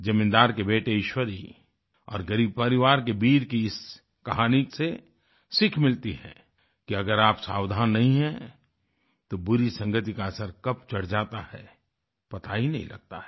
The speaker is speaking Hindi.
जमींदार के बेटे ईश्वरी और ग़रीब परिवार के बीर की इस कहानी से सीख मिलती है कि अगर आप सावधान नहीं हैं तो बुरी संगति का असर कब चढ़ जाता है पता ही नहीं लगता है